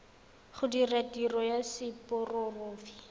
go dira tiro ya seporofe